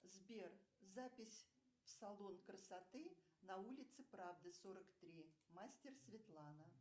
сбер запись в салон красоты на улице правды сорок три мастер светлана